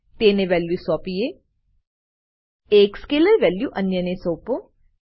તેને વેલ્યુ સોપીએ એક સ્કેલર વેલ્યુ અન્યને સોપો